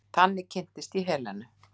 Þannig kynntist ég Helenu.